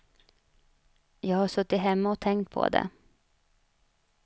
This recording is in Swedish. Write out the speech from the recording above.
Jag har suttit hemma och tänkt på det.